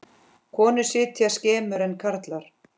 Konur sitja skemur en karlar.